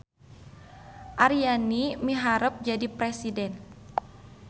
Aryani miharep jadi presiden